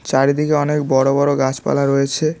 চারিদিকে অনেক বড় বড় গাছপালা রয়েছে।